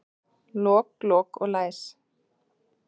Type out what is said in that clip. Lok, lok og læs.